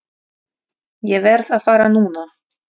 Ég verð að fara núna!